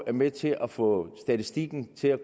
er med til at få statistikken til at